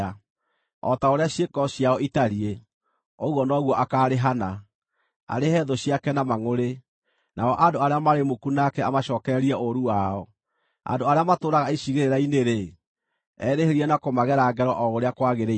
O ta ũrĩa ciĩko ciao itariĩ, ũguo noguo akaarĩhana, arĩhe thũ ciake na mangʼũrĩ, nao andũ arĩa marĩ muku nake amacookererie ũũru wao; andũ arĩa matũũraga icigĩrĩra-inĩ-rĩ, erĩhĩrie na kũmagera ngero o ũrĩa kwagĩrĩire.